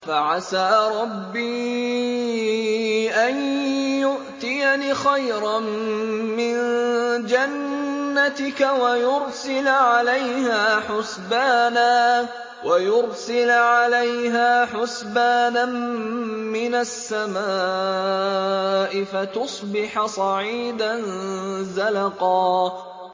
فَعَسَىٰ رَبِّي أَن يُؤْتِيَنِ خَيْرًا مِّن جَنَّتِكَ وَيُرْسِلَ عَلَيْهَا حُسْبَانًا مِّنَ السَّمَاءِ فَتُصْبِحَ صَعِيدًا زَلَقًا